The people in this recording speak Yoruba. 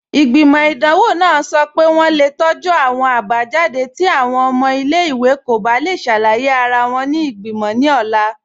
Igbimọ̀ idanwọ̀ nàà sọ́ pé wọǹ le tọju awọn abajadé̀ ti awọn ọ̀mọ̀ ilẹ̀-iwè kò bá le ṣàlàyé ara wọn ni igbimọ̀ ni ọ̀la